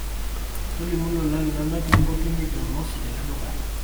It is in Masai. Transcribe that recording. tolimu lolan linonok limpotunye jumamosi tele duka